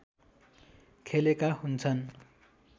खेलेका हुन्छन्